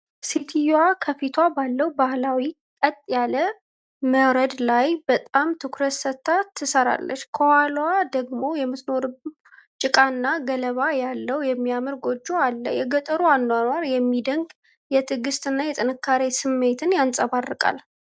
ሴትየዋ ከፊቷ ባለው ባህላዊ ቀጥ ያለ ሞረድ ላይ በጣም ትኩረት ሰጥታ ትሰራለች። ከኋላዋ ደግሞ የምትኖረው ጭቃና ገለባ ያለው የሚያምር ጎጆ አለ። የገጠሩ አኗኗር የሚደንቅ የትዕግስት እና የጥንካሬ ስሜት ያንጸባርቃል።